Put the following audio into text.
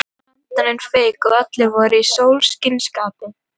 Brandararnir fuku og allir voru í sólskinsskapi.